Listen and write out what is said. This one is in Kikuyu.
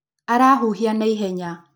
Arahuhiaka naihenya.